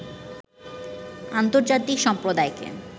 আন্তর্জাতিক সম্প্রদায়কে